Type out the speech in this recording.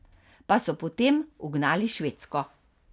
Pa so potem ugnali Švedsko.